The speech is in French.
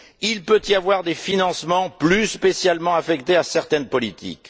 Il peut y avoir des financements plus spécialement affectés à certaines politiques.